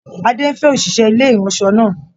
Adé ń fẹ́ òṣìṣẹ́ ilé ìraṣọ náà.